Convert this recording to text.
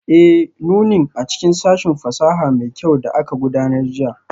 Ee, nunin a cikin sashin fasaha mai kyau da aka gudanar jiya